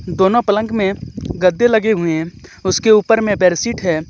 दोनों पलंग मे गद्दे लगे हुई हे उसके ऊपर मे बेरशीट हे.